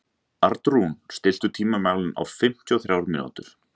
Arnrún, stilltu tímamælinn á fimmtíu og þrjár mínútur.